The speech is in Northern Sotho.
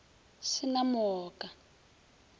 sa na mo a ka